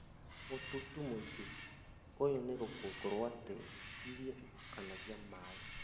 Mũtutu mũigũ, ũyũ nĩ rũkũngũ rwa tĩri iria ĩtukanagia na maĩ